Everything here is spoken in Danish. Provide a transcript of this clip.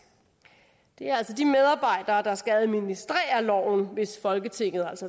det er altså de medarbejdere der skal administrere loven hvis folketinget